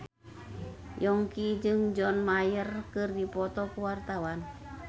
Yongki jeung John Mayer keur dipoto ku wartawan